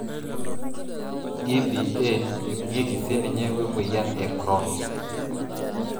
EBA eibungieki sininye wemoyian e Crohn's.